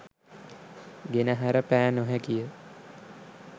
ගෙනහැර පෑ නොහැකිය